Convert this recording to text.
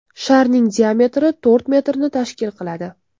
Sharning diametri to‘rt metrni tashkil qiladi.